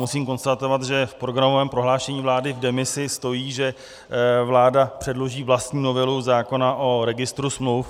Musím konstatovat, že v programovém prohlášení vlády v demisi stojí, že vláda předloží vlastní novelu zákona o registru smluv.